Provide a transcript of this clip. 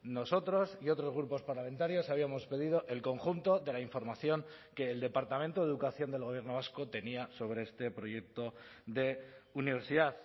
nosotros y otros grupos parlamentarios habíamos pedido el conjunto de la información que el departamento de educación del gobierno vasco tenía sobre este proyecto de universidad